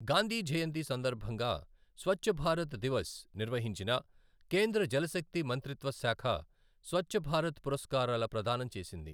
గాంధీ జయంతి సందర్భంగా స్వచ్ఛభారత్ దివస్ నిర్వహించిన కేంద్ర జలశక్తి మంత్రిత్వ శాఖ స్వచ్చభారత్ పురస్కారాల ప్రదానం చేసింది.